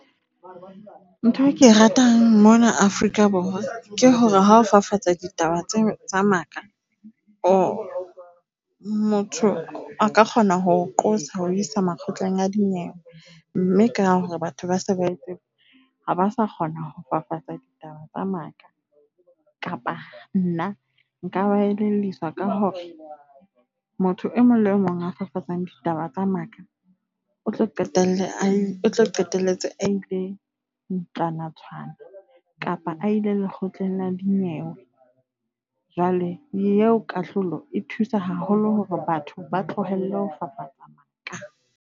Ntho e ke ratang mona Afrika Borwa ke hore ha o fafatsa ditaba tsa maka motho a ka kgona ho o qosa ho o iswa makgotleng a dinyewe. Mme ka hore batho ba se ba tseba ha ba sa kgona ho fafatsa ditaba tsa maka. Kapa nna nka ba elelliswa ka hore motho e mong le e mong a fafatsang ditaba tsa maka o tlo qetelle a o tlo qetelletse a ile ntlwanatshwana kapa a ile lekgotleng la dinyewe. Jwale eo kahlolo e thusa haholo hore batho ba tlohelle ho fafatsa maka.